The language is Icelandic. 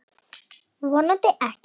Vonandi ekki.